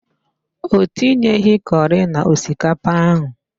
Ọ tinyeghị curi na osikapa ahụ.